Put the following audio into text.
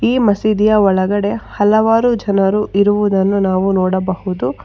ಈ ಮಸೀದಿಯ ಒಳಗಡೆ ಹಲವಾರು ಜನರು ಇರುವುದನ್ನು ನಾವು ನೋಡಬಹುದು.